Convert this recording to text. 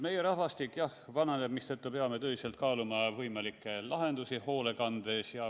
Meie rahvastik vananeb, mistõttu peame tõsiselt kaaluma võimalikke lahendusi hoolekandes.